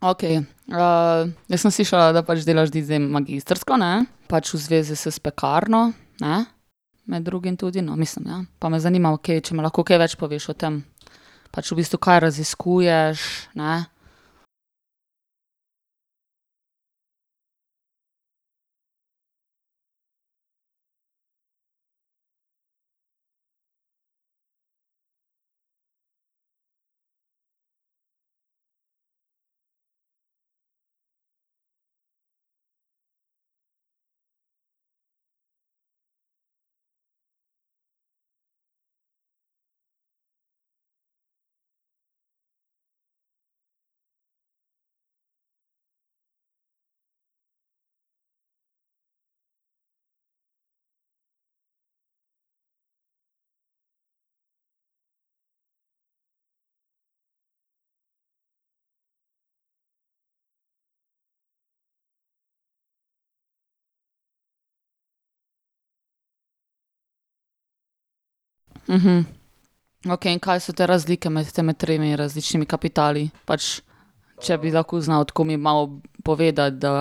Okej, jaz sem slišala, da pač delaš ti zdaj magistrsko, ne? Pač v zvezi s s Pekarno, ne, med drugim tudi, no, mislim, ja. Pa me zanima okej, če mi lahko kaj več poveš o tem. Pač v bistvu, kaj raziskuješ, ne? Okej, in kaj so te razlike med temi tremi različnimi kapitali pač, če bi lahko znal tako mi malo povedati, da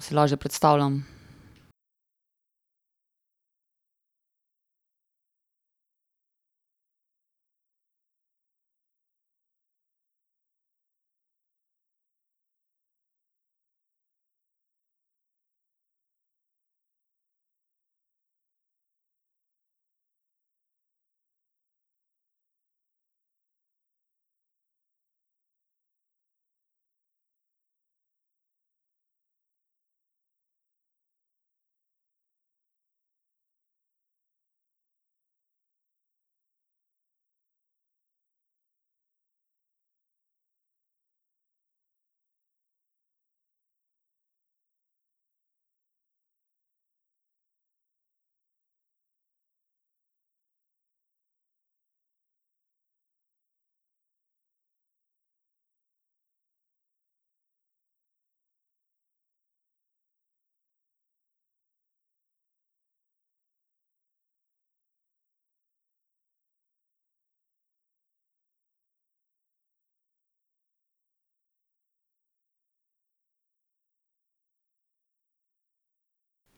si lažje predstavljam.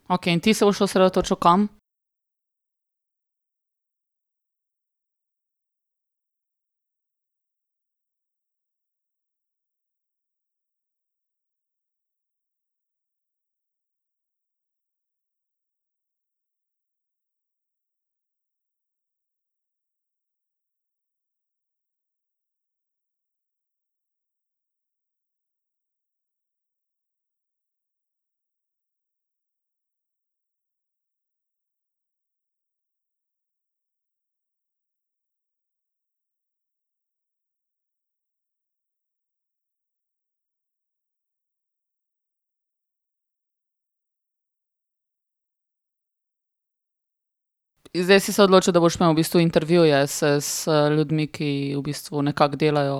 Okej, in ti se boš osredotočil kam? Zdaj si se odločil, da boš imel v bistvu intervjuje z z ljudmi, ki v bistvu nekako delajo? .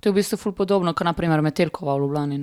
To je v bistvu ful podobno, kot na primer Metelkova v Ljubljani,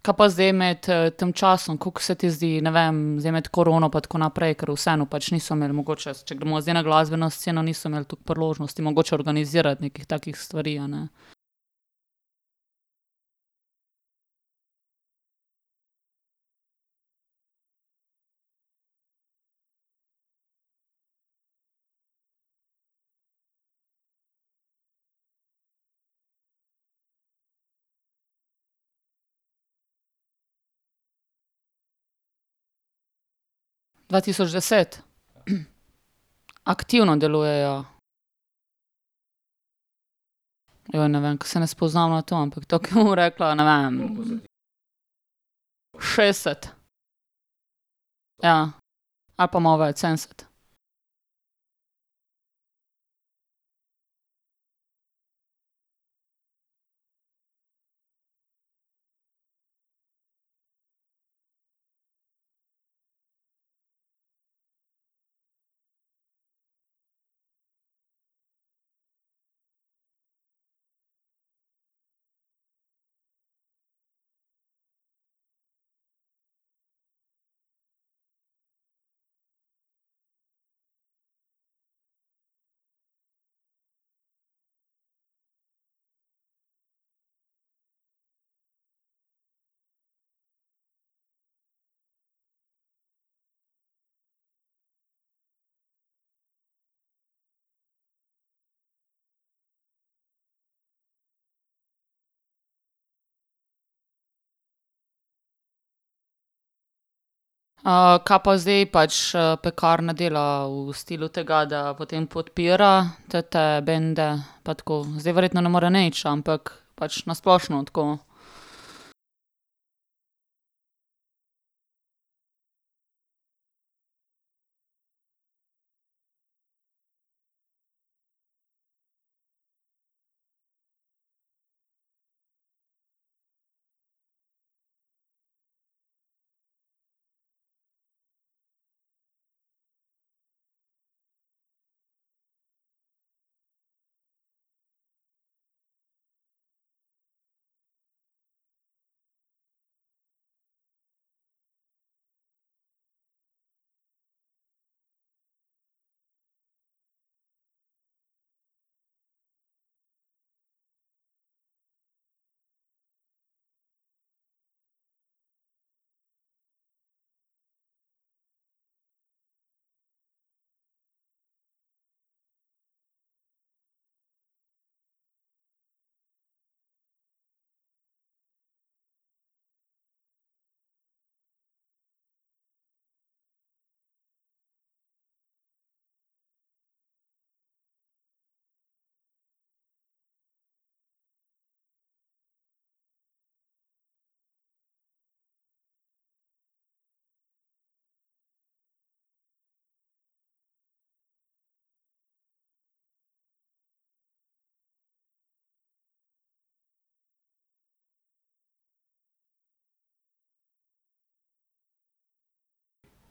ne? Kaj pa zdaj med, tem časom, kako se ti zdi, ne vem, zdaj med korono pa tako naprej, ker vseeno pač niso imeli mogoče, če gremo zdaj na glasbeno sceno, niso imeli toliko priložnosti mogoče organizirati nekih takih stvari, a ne. Dva tisoč deset. Aktivno delujejo. Joj, ne vem, ke se ne spoznam na to, ampak ne vem. Šestdeset. Ja. Ali pa malo več sedemdeset. kaj pa zdaj pač, Pekarna dela v stilu tega, da potem podpira te bende pa tako? Zdaj verjetno ne more nič, ampak pač na splošno tako.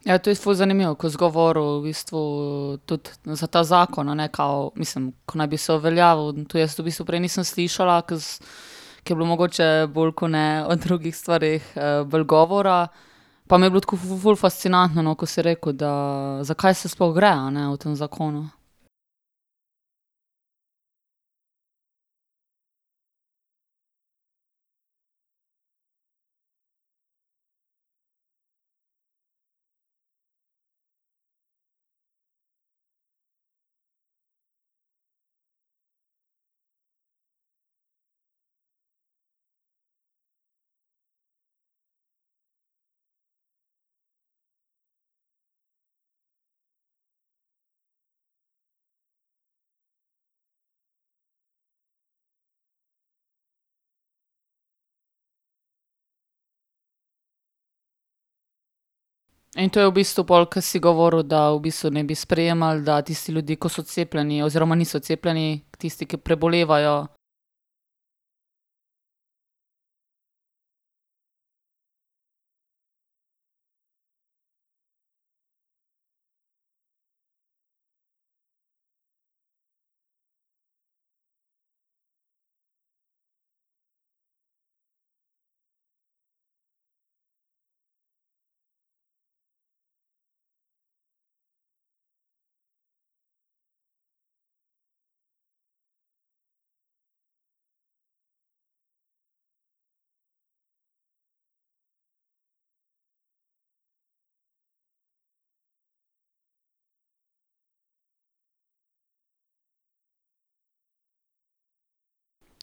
Ja, to je ful zanimivo, ko si govoril v bistvu tudi za ta zakon, a ne, kao, mislim, ko naj bi se uveljavil, to jaz v bistvu prej nisem slišala, ke, ke je bilo mogoče, bolj ke ne o drugih stvareh, bolj govora. Pa mi je bilo tako ful fascinantno, no, ko si rekel, da zakaj se sploh gre, a ne, v tem zakonu. In to je v bistvu pol, ke si govoril, da v bistvu naj bi sprejemali, da tisti ljudje, ki so cepljeni oziroma niso cepljeni, tisti, ki prebolevajo ...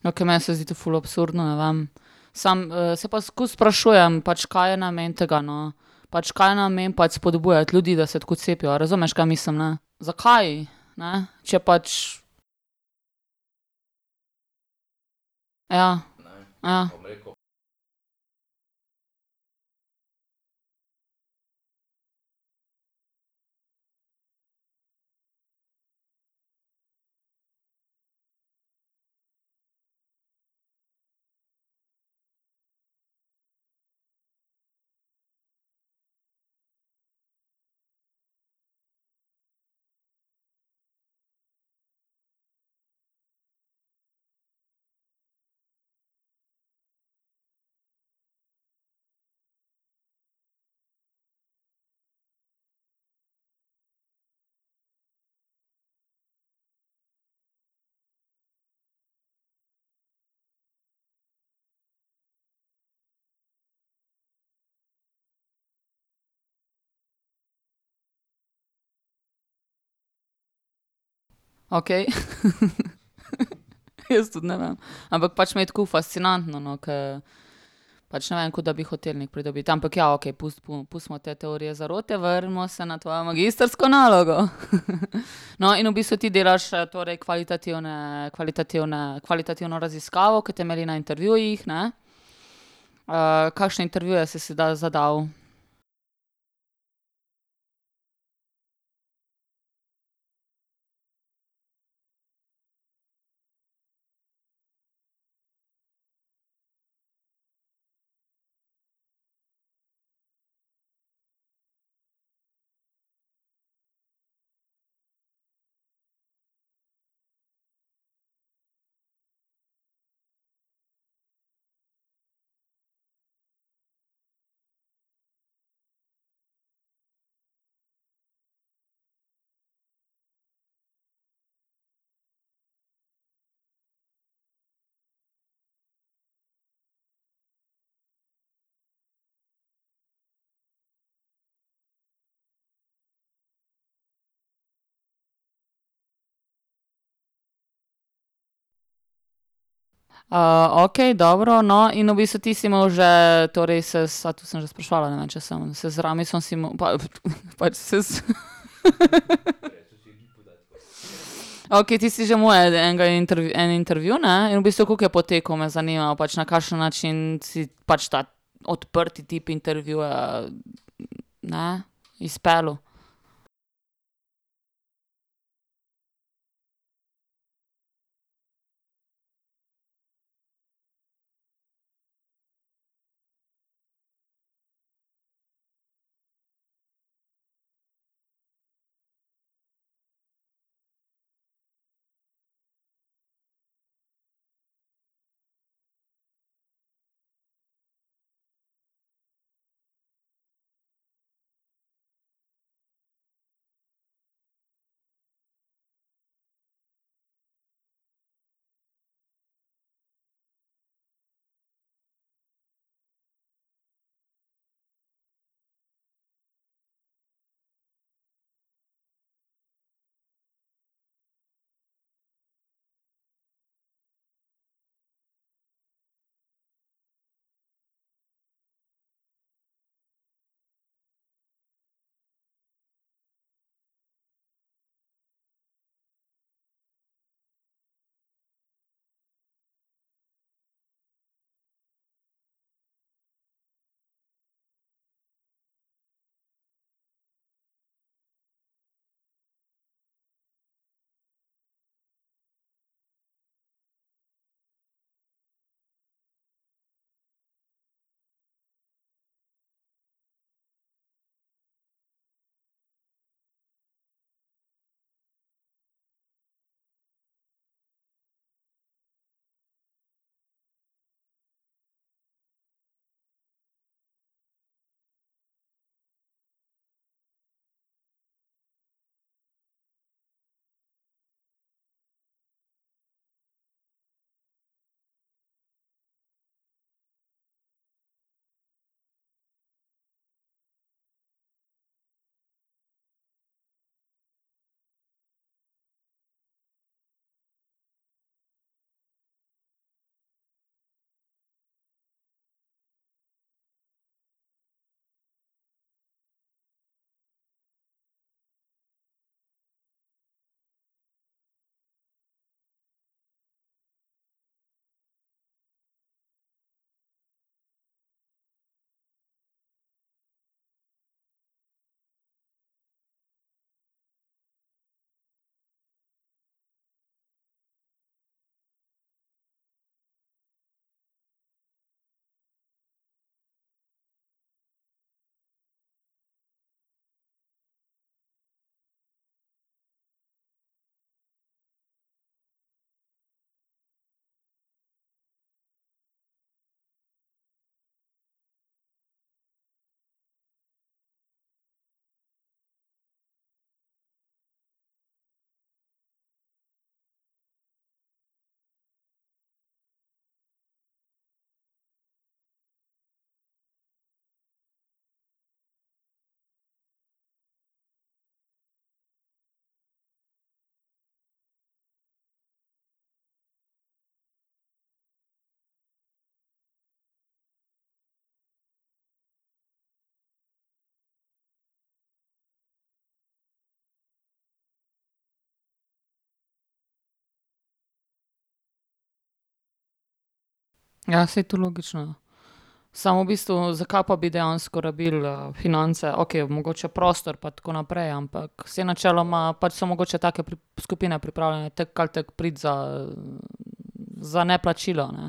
Okej, meni se zdi to ful absurdno, ne vem. Samo, se pa skozi sprašujem, pač, kaj je namen tega, no. Pač, kaj je namen pač spodbujati ljudi, da se tako cepijo, a razumeš, kaj mislim, ne? Zakaj, ne? Če pač ... Ja. Okej ... Jaz tudi ne vem, ampak pač mi je tako fascinantno, no, ke pač ne vem, ko da bi hotel nekaj pridobiti, ampak ja, okej, pustimo te teorije zarote, vrnimo se na tvojo magistrsko nalogo . No, in v bistvu ti delaš, torej kvalitativne, kvalitativne, kvalitativno raziskavo, ke temelji na intervjujih, ne? kakšne intervjuje se si dal, zadal? okej, dobro, no, in v bistvu ti si imel že torej to sem že spraševala, ne vem, če sem pač saj ... Okej, ti si en intervju, ne, in v bistvu, kako je potekal, me zanima, pač na kakšen način si pač ta odprti tip intervjuja, ne, izpeljal? Ja, saj to logično. Samo v bistvu, zakaj pa bi dejansko rabil, finance, okej mogoče prostor pa tako naprej, ampak saj načeloma pač so mogoče take skupine pripravljene tako ali tako priti za, za neplačilo, a ne.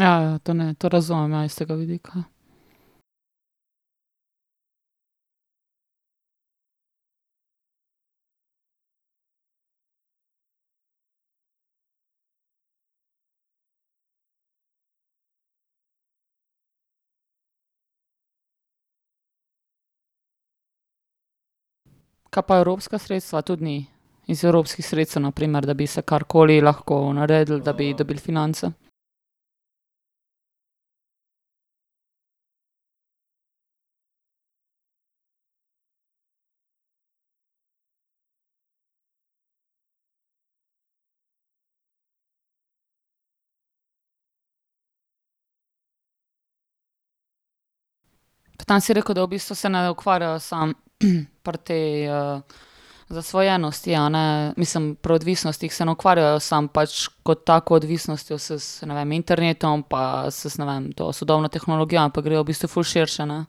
Ja, ja, to ne, to razumem, ja, iz tega vidika. Kaj pa evropska sredstva, tudi ni? Iz evropskih sredstev, na primer, da bi se karkoli lahko naredilo, da bi dobil finance? Tam si rekel, da v bistvu se ne ukvarjajo samo pri tej, zasvojenosti, a ne, mislim pri odvisnostih se ne ukvarjajo samo pač kot tako odvisnostjo se, ne vem, internetom pa s s, ne vem, to sodobno tehnologijo, ampak grejo v bistvu ful širše, ne.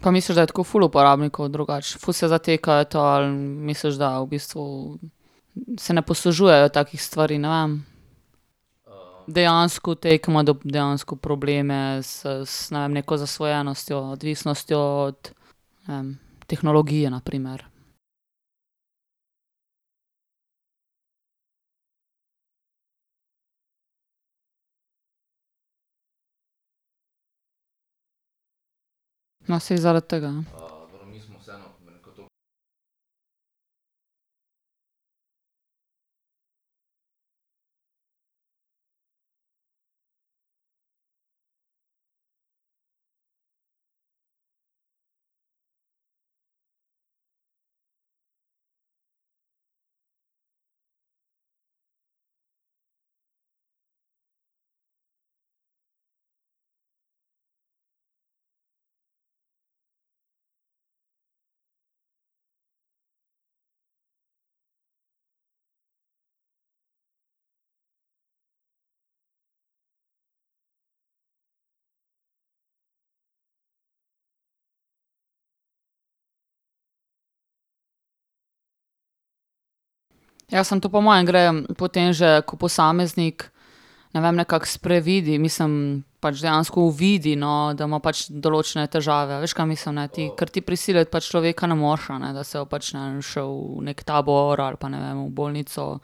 Pa misliš, da je tako ful uporabnikov drugače, ful se zatekajo, misliš, da v bistvu se ne poslužujejo takih stvari, ne vem. Dejansko te ke dejansko probleme s s, ne vem, z neko zasvojenostjo, odvisnostjo od, ne vem, tehnologije, na primer. No, saj zaradi tega . Ja, samo to po moje gre po tem že, ko posameznik, ne vem, nekako sprevidi, mislim pač dejansko uvidi, no, da ima pač določene težave, a veš, kaj mislim, ne ti, ker ti prisiliti človeka ne moreš, a ne, da se pač, ne šel v neki tabor ali pa, ne vem, v bolnico,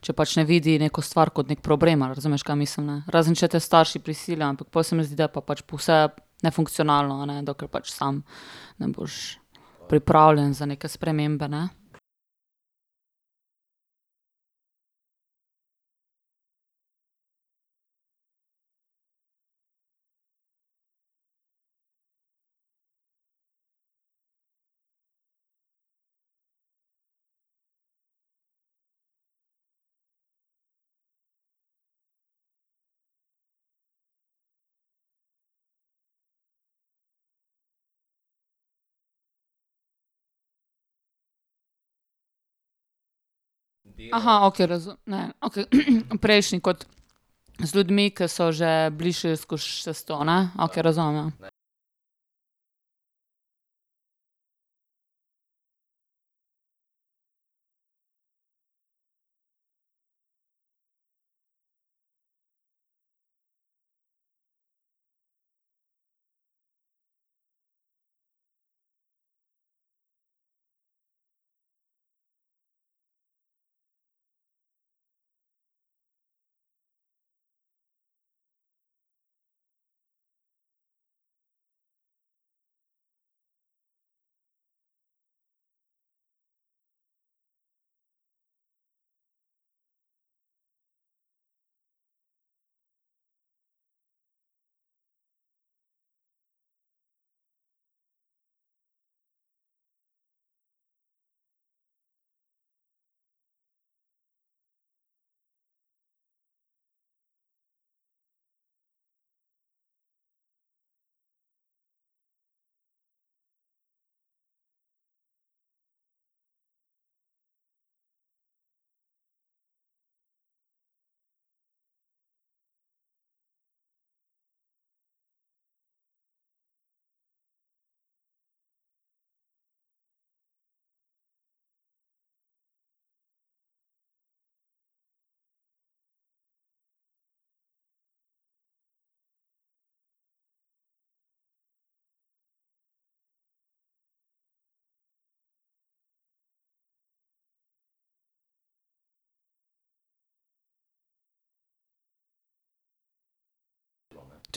če pač ne vidi, neko stvar kot neki problem, a razumeš, kaj mislim, ne, razen če te starši prisilijo, ampak pol se mi zdi, da je pa pač vse nefunkcionalno, a ne, dokler pač sam ne boš pripravljen za neke spremembe, ne. okej razumem, ne, okej, prejšnji kot z ljudmi, ke so že bili šli čez to, ne. Okej razumem,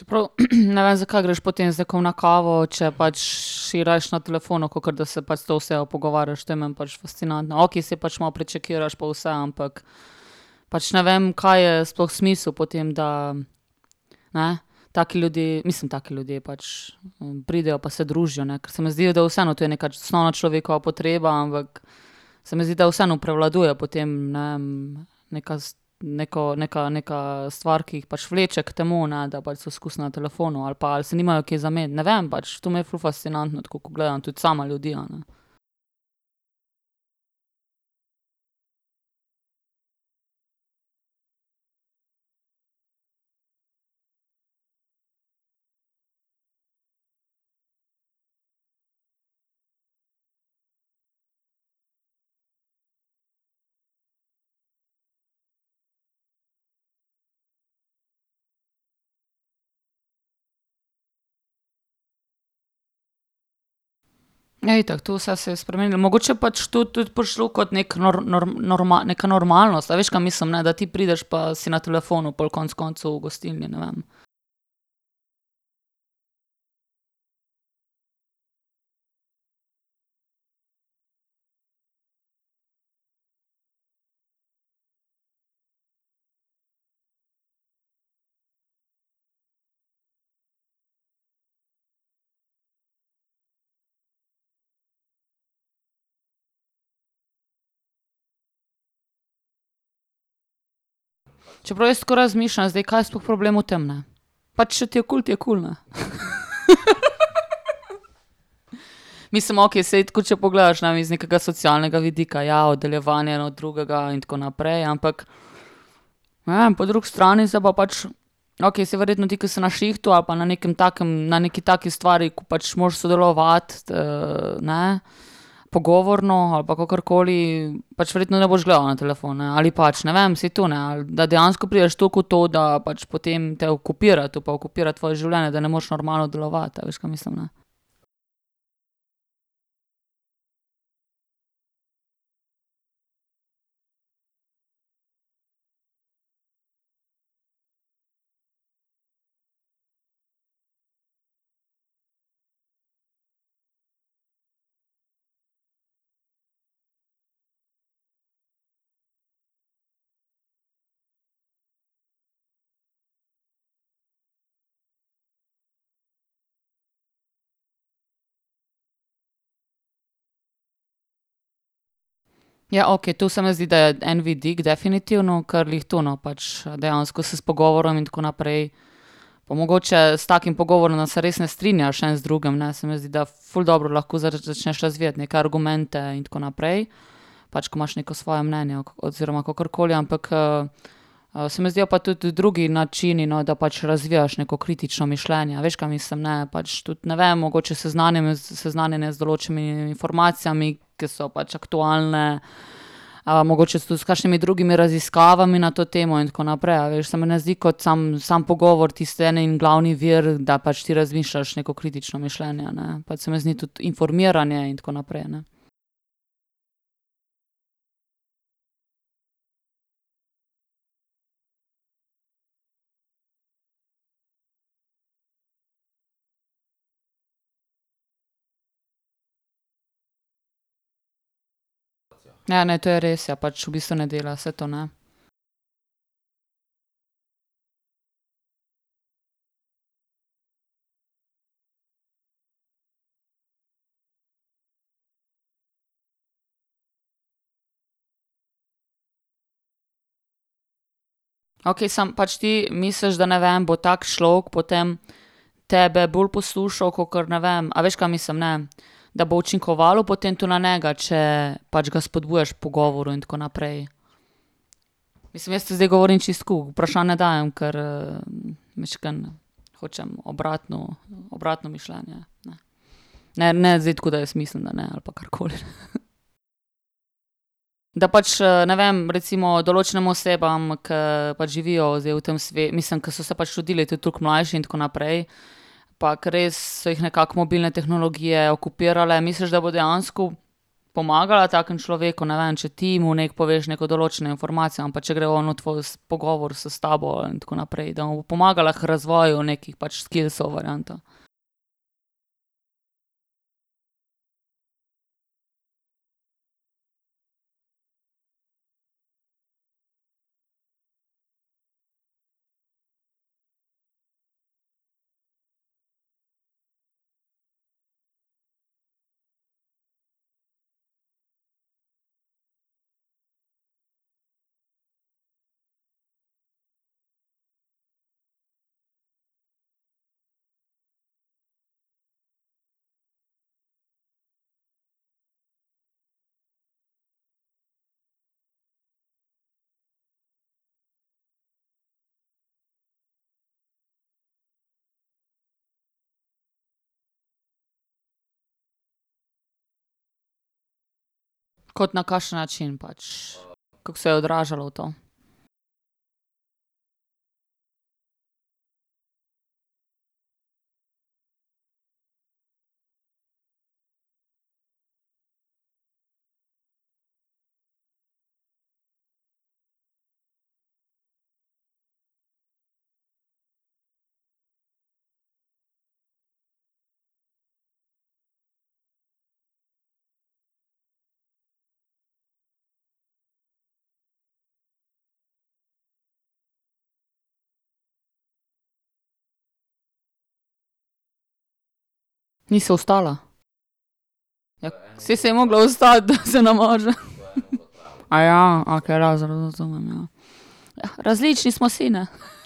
ja. Čeprav, ne vem, zakaj greš potem z nekom na kavo, če pač, si rajši na telefonu, kakor da se pač s to osebo pogovarjaš, to je meni pač fascinantno, okej, saj pač malo prečekiraš pa vse, ampak pač ne vem, kaj je sploh smisel potem, da ne. Taki ljudje, mislim, taki ljudje pač pridejo pa se družijo, ne, ker se mi zdijo, da je vseeno tu neka osnovna človekova potreba, ampak se mi zdi, da vseeno prevladuje po tem, ne vem, neka neko, neka, neka stvar, ki jih pač vleče k temu, ne, da pač so skozi na telefonu ali pa se nimajo kaj za meniti, ne vem, pač, to mi je ful fascinantno tako, ko gledam same ljudi, a ne. Ja, itak, to vse se je spremenilo, mogoče pač tu tudi prišlo, ko neki neka normalnost, a veš, kaj mislim, da ti prideš pa si na telefonu pol konec koncev v gostilni, ne vem. Čeprav jaz tako razmišljam, kaj je sploh problem v tem, ne? Pač, če ti je kul, ti je kul, ne . Mislim, okej, saj tako, če pogledaš, ne, mislim kakega socialnega vidika, ja, oddaljevanje en od drugega in tako naprej, ampak ne vem, po drugi strani se pa pač, okej, saj verjetno ti, ke si na šihtu, ali pa na nekem takem na neki taki stvari, ko pač moraš sodelovati, ne pogovorno ali pa kakorkoli, pač verjetno ne boš gledal na telefon, ne, ali pač, ne vem, saj to, da dejansko prideš toliko v to, da pač potem te okupira to pa okupira tvoje življenje, da ne moreš normalno delovati, a veš, kaj mislim, ne? Ja, okej, to se meni zdi, da je en vidik, definitivno, kar glih tu, no, pač dejansko se s pogovorom in tako naprej pa mogoče s takim pogovorom, da se res ne strinjaš, en z drugim, ne, se mi zdi, da ful dobro lahko začneš razvijati neke argumente in tako naprej, pač ko imaš neko svoje mnenje oziroma kakor koli, ampak, se mi zdijo pa tudi drugi načini, no, da pač razvijaš neko kritično mišljenje, a veš, kaj mislim, ne, pač, tudi, ne vem, mogoče seznanjenje z določenimi informacijami, ke so pač aktualne, mogoče so tudi s kakšnimi drugimi raziskavami na to temo in tako naprej, a veš, se mi ne zdi kot sam, sam pogovor tisti en in glavni vir, da pač ti razmišljaš neko kritično mišljenje, a ne, pač se mi zdi, da tudi informiranje in tako naprej, ne. Ja, ne, to je res, ja, pač v bistvu ne dela se to, ne. Okej, samo pač ti misliš, da, ne vem, bo tak človek potem tebe bolj poslušal, kakor ne vem, a veš, kaj mislim, ne? Da bo učinkovalo potem to na njega, če pač ga spodbujaš k pogovoru in tako naprej. Mislim jaz tu zdaj govorim zdaj čisto tako, vprašanja dajem, ker mičkeno hočem obratno, obratno mišljenje, ne. Ne, ne zdaj tako, da jaz mislim, da ne, ali pa karkoli. Da pač, ne vem, recimo določenim osebam, ke pač živijo zdaj v tem mislim, ke so se pač rodile tudi toliko mlajše in tako naprej pa ke res so jih nekako mobilne tehnologije okupirale, misliš, da bo dejansko pomagala takemu človeku, ne vem, če ti mu nekaj poveš neko določeno informacijo, ali pa če gre on v tvoj pogovor s tabo in tako naprej, da mu bo pomagala k razvojem nekaj pač skillsov varianto? Kot na kakšen način pač? Kako se je odražalo to? Ni se vstala? Ja, saj se je mogla vstati, da se namaže. okej razumem, ja. različni smo si, ne.